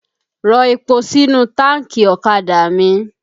Rọ epo sínú táànkì ọ̀kadà mi!